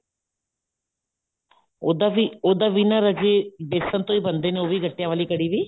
ਉੱਦਾਂ ਵੀ ਉੱਦਾਂ ਵੀ ਨਾ ਰਾਜੇ ਬੇਸਨ ਤੋਂ ਹੀ ਬਣਦਾ ਨੇ ਉਹ ਵੀ ਗੱਟਿਆ ਵਾਲੀ ਕੜ੍ਹੀ ਵੀ